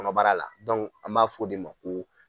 Kɔnɔbara la an b'a fɔ o de ma ko